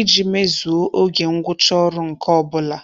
iji mezuo oge ngwụcha ọrụ nke ọbụla.